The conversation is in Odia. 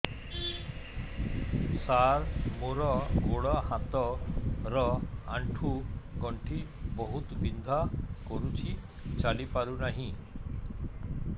ସାର ମୋର ଗୋଡ ହାତ ର ଆଣ୍ଠୁ ଗଣ୍ଠି ବହୁତ ବିନ୍ଧା କରୁଛି ଚାଲି ପାରୁନାହିଁ